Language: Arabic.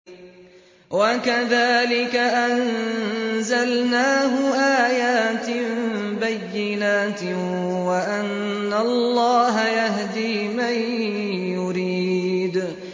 وَكَذَٰلِكَ أَنزَلْنَاهُ آيَاتٍ بَيِّنَاتٍ وَأَنَّ اللَّهَ يَهْدِي مَن يُرِيدُ